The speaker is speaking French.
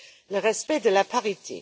le respect de la parité.